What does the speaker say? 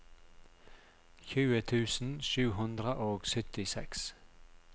tjue tusen sju hundre og syttiseks